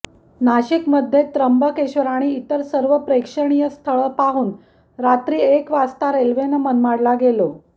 नाशिकमध्ये त्र्यंबकेश्वर आणि इतर सर्व प्रेक्षणीय स्थळं पाहून रात्री एक वाजता रेल्वेनं मनमाडला गेलो